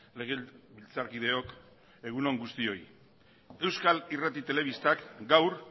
legebiltzarkideok egun on guztioi euskal irrati telebistak gaur